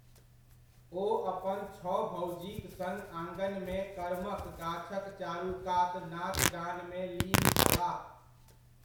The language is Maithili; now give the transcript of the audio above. ओ अपन छओ भौजीक सङ्ग आङनमे करमक गाछक चारूकात नाचगानमे लीन छलाह।